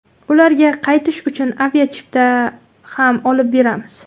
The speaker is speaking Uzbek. Ularga qaytish uchun aviachipta ham olib beramiz.